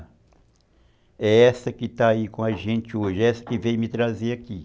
É essa que está aí com a gente hoje, é essa que veio me trazer aqui.